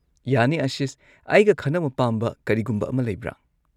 ꯌꯥꯅꯤ ꯑꯥꯁꯤꯁ, ꯑꯩꯒ ꯈꯟꯅꯕ ꯄꯥꯝꯕ ꯀꯔꯤꯒꯨꯝꯕ ꯑꯃ ꯂꯩꯕ꯭ꯔꯥ?